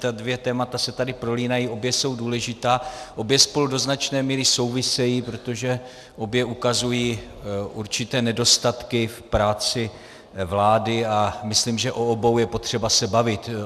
Ta dvě témata se tady prolínají, obě jsou důležitá, obě spolu do značné míry souvisejí, protože obě ukazují určité nedostatky v práci vlády, a myslím, že o obou je potřeba se bavit.